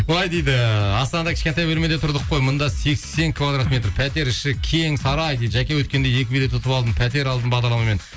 былай дейді астанада кішкентай бөлмеде тұрдық қой мында сексен квадрат метр пәтер іші кең сарай дейді жәке өткенде екі билет ұтып алдым пәтер алдым бағдарламамен